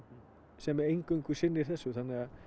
sem eingöngu sinnir þessu þannig að